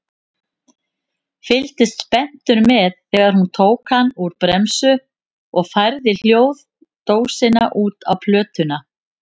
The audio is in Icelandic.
Fylgdist spenntur með þegar hún tók hann úr bremsu og færði hljóðdósina út á plötuna.